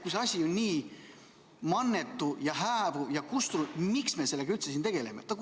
Kui see asi on nii mannetu ja hääbuv ning peaaegu kustunud, miks me sellega üldse tegeleme?